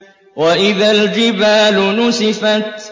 وَإِذَا الْجِبَالُ نُسِفَتْ